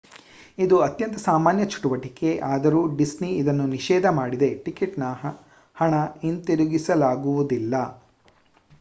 ಇದು ಅತ್ಯಂತ ಸಾಮಾನ್ಯ ಚಟುವಟಿಕೆ ಆದರೂ ಡಿಸ್ನಿ ಇದನ್ನು ನಿಷೇಧ ಮಾಡಿದೆ: ಟಿಕೆಟ್‌ನ ಹಣ ಹಿಂದಿರುಗಿಸಲಾಗುವುದಿಲ್ಲ